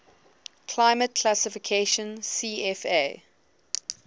climate classification cfa